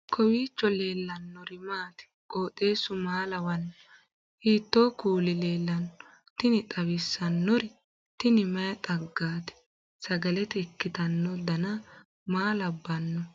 kowiicho leellannori maati ? qooxeessu maa lawaanno ? hiitoo kuuli leellanno ? tini xawissannori tini mayi xaggaati sagalete ikkitanno dana maa labbanno